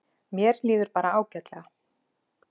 Mér líður bara ágætlega.